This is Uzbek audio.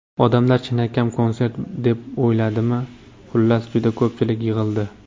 Odamlar chinakam konsert deb o‘yladimi, xullas, juda ko‘pchilik yig‘ildi.